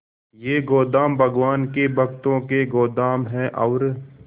ये गोदाम भगवान के भक्तों के गोदाम है और